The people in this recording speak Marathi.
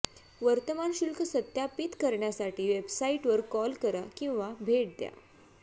वर्तमान शुल्क सत्यापित करण्यासाठी वेबसाइटवर कॉल करा किंवा भेट द्या